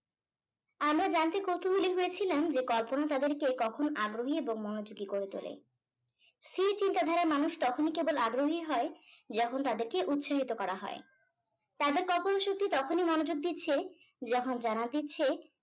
আমরা জানতে কৌতূহলী হয়েছিলাম যে কল্পনা তাদের কে কখন আগ্রহী এবং মনোযোগী করে তোলে স্থির চিন্তাধারার মানুষ তখনি কেবল আগ্রহী হয় যখন তাদেরকে উৎসাহিত করা হয় তাদের কল্পনা শক্তি তখনি মনোযোগ দিচ্ছে যখন জানান দিচ্ছে